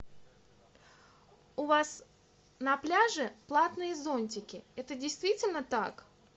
у вас на пляже платные зонтики это действительно так